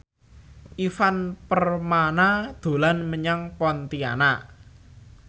Ivan Permana dolan menyang Pontianak